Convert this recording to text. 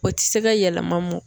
O tɛ se ka yɛlɛma mɔn